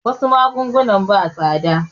Wasu magunguna ba tsada